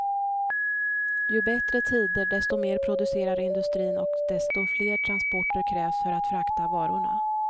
Ju bättre tider, desto mer producerar industrin och desto fler transporter krävs för att frakta varorna.